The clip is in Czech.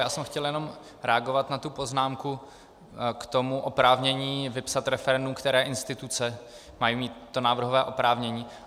Já jsem chtěl jenom reagovat na tu poznámku k tomu oprávnění vypsat referendum, které instituce mají mít to návrhové oprávnění.